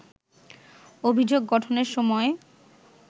অভিযোগ গঠনের সময়